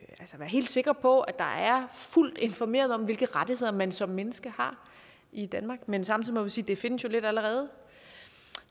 helt sikker på at der er fuldt informeret om hvilke rettigheder man som menneske har i danmark men samtidig må vi sige at det findes jo lidt allerede